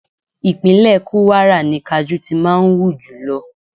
Ìpínlẹ̀ Kúwárà ni kajú ti máa ń hù jùlọ.